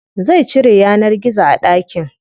Zai cire yanar gizo a ɗakin.